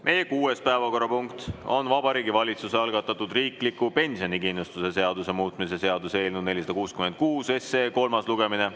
Meie kuues päevakorrapunkt on Vabariigi Valitsuse algatatud riikliku pensionikindlustuse seaduse muutmise seaduse eelnõu 466 kolmas lugemine.